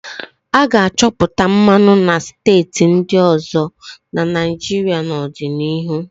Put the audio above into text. A ga-achọpụta mmanụ na steeti ndị ọzọ na Naịjirịa n'ọdịnihu.